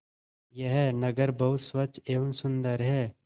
यह नगर बहुत स्वच्छ एवं सुंदर है